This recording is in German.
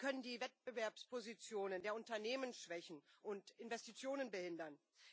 Sie können die Wettbewerbspositionen der Unternehmen schwächen und Investitionen behindern.